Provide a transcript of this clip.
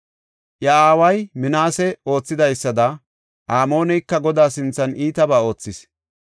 Iya aaway, Minaasey oothidaysada, Amooneyka Godaa sinthan iitabaa oothis.